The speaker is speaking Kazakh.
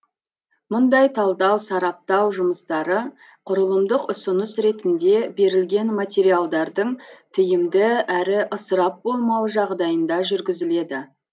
мұндай талдау сараптау жұмыстары құрылымдық ұсыныс ретінде берілген материалдардың тиімді әрі ысырап болмауы жағдайында жүргізіледі